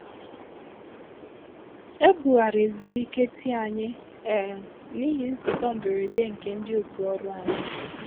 ebu ghara ezumike tii anyị um n’ihi nzukọ mberede nke ndị òtù ọrụ anyị